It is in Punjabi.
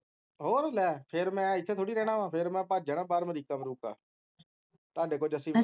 ਹੋਰ ਲੈ ਫੇਰ ਮੈਂ ਇਥੇ ਥੋੜੀ ਰਹਿਣਾ ਵਾ ਫੇਰ ਮੈਂ ਭੱਜ ਜਾਣਾ ਬਾਹਰ ਅਮਰੀਕਾ ਅਮਰੀਕਾ ਤੁਹਾਡੇ ਕੋਲ ਜੱਸੀ